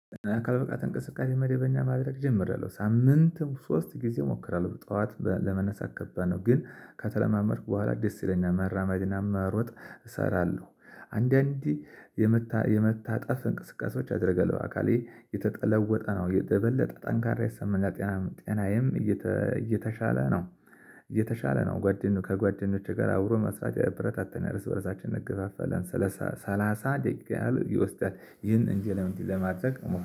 አካል ብቃት እንቅስቃሴ መደበኛ ማድረግ ጀምሪአለሁ በሳምንትም ሶስት ጊዜ እሞክራለሁ ጠዋት ለመነሳት ከባድ ነው ግን ከተለማመድኩ በኋላ ደስ ይለኛል መራመድና መሮጥ እሰራለሁ አንዳንዴ የመታ የመታጠፍ እንቅስቃሴዎች አድርገህ አካሌ የተለወጠ ነው የበለጠ ጠንካራ የሰማኛል ጤናም ጤናምየም እየተሻለ ነው። እየተሻለ ነው ጓደኞቼ ከጓደኞቼ ጋር አብሮ መስራት የብረታታኛል እርስበረሳችን እንገባፋለን። ሰላሳ ሰላሳ ደቂቃ ያህል ይወስዳል ይህን በእየለቱ ለማድረግ